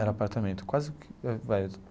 Era apartamento quase que.